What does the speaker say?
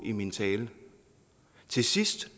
i min tale til sidst